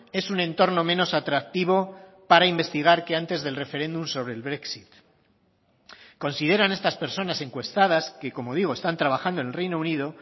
es un entorno menos atractivo para investigar que antes del referéndum sobre el brexit consideran estas personas encuestadas que como digo están trabajando en el reino unido